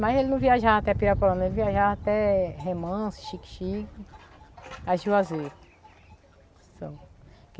Mas ele não viajava até Pirapolano, ele viajava até Remans, Chique-Chique, a juazeiro, só.